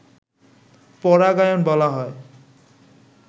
পরাগায়ন বলা হয়